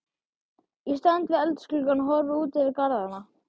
Ég stend við eldhúsgluggann og horfi út yfir garðana.